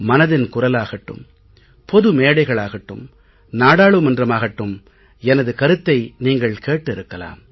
மனதின் குரலாகட்டும் பொது மேடைகளாகட்டும் நாடாளுமன்றமாகட்டும் எனது கருத்தை நீங்கள் கேட்டிருக்கலாம்